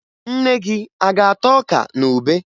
Nne gị a ga-ata ọka na ube?